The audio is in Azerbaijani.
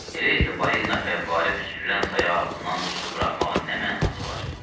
Elə isə balina fəvvarə püskürən sayaq ağzından tüstü buraxmağın nə mənası var?